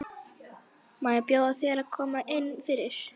Má ekki bjóða þér að koma inn fyrir?